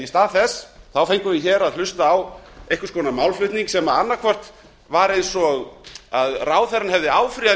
í stað þess fengum við hér að hlusta á einhvers konar málflutning sem hljómaði á þann veg að ráðherra hefði áfrýjað